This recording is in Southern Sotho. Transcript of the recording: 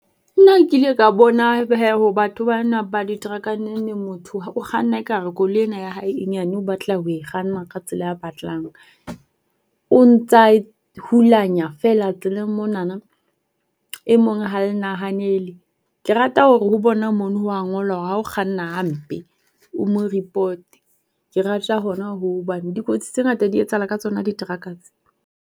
Nna nkile ka bona haibo batho ba na ba ditereka nengneng motho o kganna ekare koloi ena ya hae e nyane o batla ho e kganna ka tsela a batlang. O ntsa e hulanya feela tseleng monana. E mong ha e nahahanele. Ke rata hore ho bona mono ho a ngolwa hore ha o kganna hampe o mo ripote. Ke rata hona hoo hobane dikotsi tse ngata di etsahala ka tsona diteraka tse.